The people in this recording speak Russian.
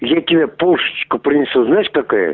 я тебе пушечка принесу знаешь такая